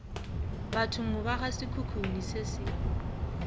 bathong ba gasekhukhune se se